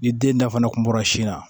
Ni den da fana kun bɔra sin na